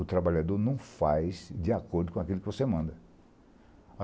O trabalhador não faz de acordo com aquilo que você manda.